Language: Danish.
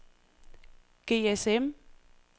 GSM